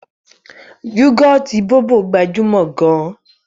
Yúgọ̀ọ̀tì Bóbò gbajúmọ̀ gan-an